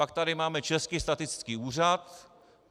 Pak tady máme Český statistický úřad.